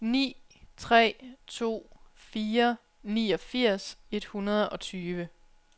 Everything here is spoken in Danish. ni tre to fire niogfirs et hundrede og tyve